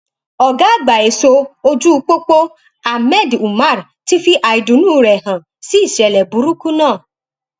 ọgá àgbà ẹṣọ ojú pópó ahmed umar ti fi àìdùnnú rẹ hàn sí ìṣẹlẹ burúkú náà